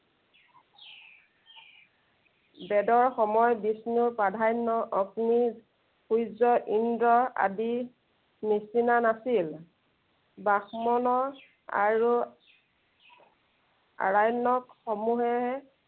বেদৰ সময়ত বিষ্ণুৰ প্ৰাধান্য় অগ্নি, সূৰ্য ইন্দ্ৰ আদিৰ নিচিনা নাছিল। ব্ৰাহ্মণ্য় আৰু আৰণ্য়ক সমূহেহে